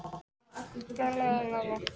Henrik, hvað er í dagatalinu mínu í dag?